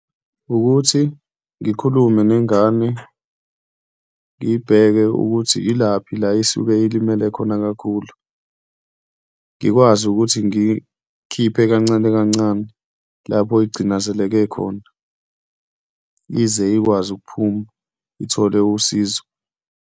Wukuthi ngikhulume nengane ngiyibheke ukuthi yilaphi la isuke ilimele khona kakhulu. Ngikwazi ukuthi ngiy'khiphe kancane kancane lapho igcinazeleke khona, ize ikwazi ukuphuma ithole usizo.